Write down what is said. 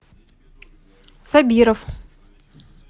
сабиров